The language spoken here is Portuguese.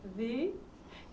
Vi.